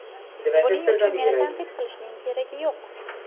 Buning uchun meni tanqid qilishning keragi yo‘q.